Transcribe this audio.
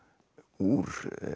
úr